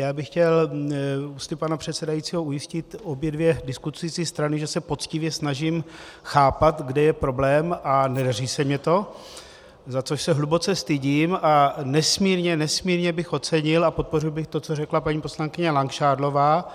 Já bych chtěl ústy pana předsedajícího ujistit obě dvě diskutující strany, že se poctivě snažím chápat, kde je problém, a nedaří se mi to, za což se hluboce stydím, a nesmírně, nesmírně bych ocenil a podpořil bych to, co řekla paní poslankyně Langšádlová,